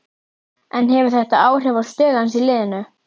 En hefur þetta áhrif á stöðu hans í liðinu?